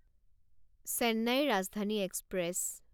Chennai Rajdhani express